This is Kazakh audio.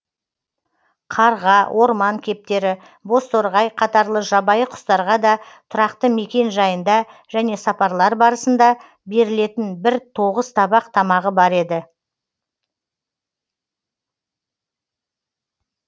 қарға орман кептері бозторғай қатарлы жабайы құстарға да тұрақты мекен жайында және сапарлар барысында берілетін бір тоғыз табақ тамағы бар еді